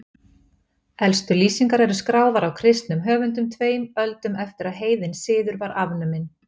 Elstu lýsingar eru skráðar af kristnum höfundum tveim öldum eftir að heiðinn siður var afnuminn.